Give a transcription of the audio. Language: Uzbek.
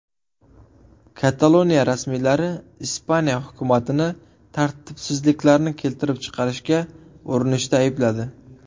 Kataloniya rasmiylari Ispaniya hukumatini tartibsizliklarni keltirib chiqarishga urinishda aybladi.